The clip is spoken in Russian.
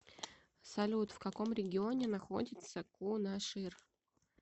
салют в каком регионе находится кунашир